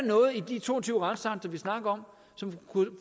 noget i de to og tyve retsakter vi snakker om som